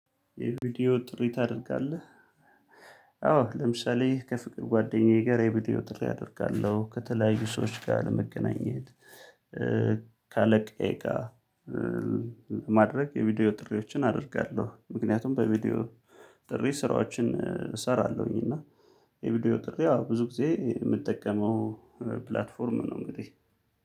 የቪዲዮ ጥሪ ታደርጋለህ? አዎ ለምሳሌ ከፍቅር ጓደኛዬ ጋር የቪዲዮ ጥሪ አደርጋለሁ። ከተለያዩ ሰዎች ጋር ለመገናኘት። ከአለቃዬ ጋር ለማድረግ የቪዲዮ ጥሪዎችን አደርጋለሁ። ምክንያቱም በቪዲዮ ጥሪ ስራዎችን እሰራለሁኝ። እና የቪዲዮ ጥሪ ያው ብዙ ጊዜ የምጠቀመው ፕላትፎርም ነው። እንግዲህ